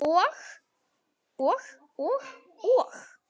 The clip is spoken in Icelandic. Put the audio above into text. Og, og, og.